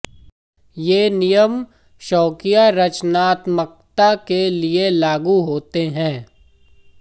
ये नियम शौकिया रचनात्मकता के लिए लागू होते हैं